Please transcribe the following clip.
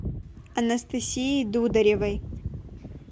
анастасии дударевой